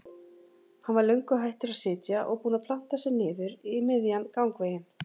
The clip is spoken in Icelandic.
Hann var löngu hættur að sitja og búinn að planta sér niður í miðjan gangveginn.